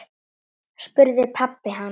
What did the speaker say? spurði pabbi hans.